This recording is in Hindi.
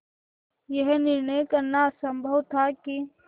यह निर्णय करना असम्भव था कि